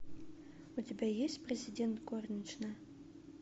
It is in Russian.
у тебя есть президент горничная